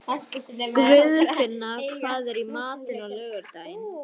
Guðfinna, hvað er í matinn á laugardaginn?